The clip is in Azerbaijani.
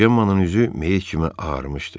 Cemmanın üzü meyit kimi ağarmışdı.